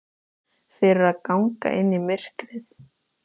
Fyrir að ganga inn í myrkrið.